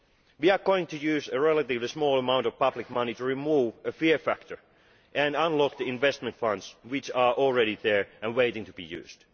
We are going to use a relatively small amount of public money to remove the fear factor and unlock the investment funds which are already there and waiting to be used.